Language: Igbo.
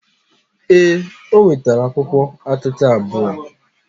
Ee, o nwetara akwụkwọ akụkụ abụọ.